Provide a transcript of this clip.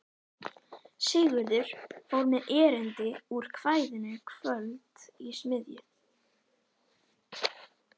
Sigurður fór með erindi úr kvæðinu Kvöld í smiðju